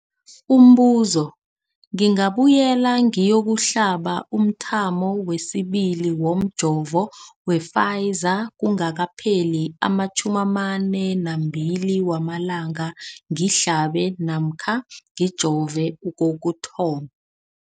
Umbuzo, ngingabuyela ngiyokuhlaba umthamo wesibili womjovo we-Pfizer kungakapheli ama-42 wamalanga ngihlabe namkha ngijove kokuthoma.